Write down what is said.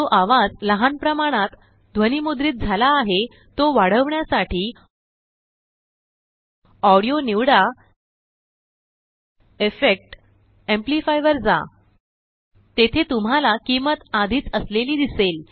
जो आवाज लहान प्रमाणत ध्वनिमुद्रित झाला आहे तोवाढवण्यासाठी ऑडीओ निवडा इफेक्ट जीटीजीटी एम्प्लिफाय वर जा जीटीजीटी तेथे तुम्हाला किंमत आधीच असलेलीदिसेल